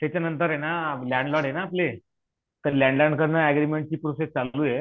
त्याच्या नंतरना landlord आहेना आपले तर लंड लॉर्डकडण अग्रीमेंटची प्रोसेस चालू आहे